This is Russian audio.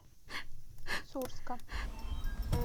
сурска